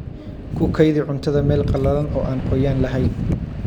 Ku kaydi cuntada meel qalalan oo aan qoyaan lahayn.